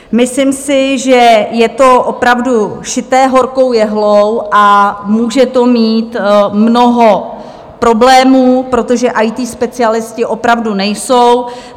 Myslím si, že je to opravdu šité horkou jehlou a může to mít mnoho problémů, protože IT specialisté opravdu nejsou.